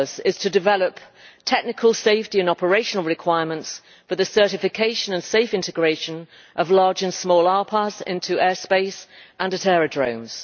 purpose is to develop technical safety and operational requirements for the certification and safe integration of large and small RPAS into airspace and at aerodromes.